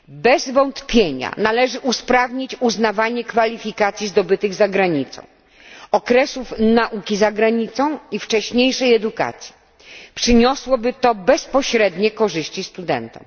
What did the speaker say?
Bez wątpienia należy usprawnić uznawanie kwalifikacji zdobytych za granicą, okresów nauki za granicą i wcześniejszej edukacji. Przyniosłoby to bezpośrednie korzyści studentom.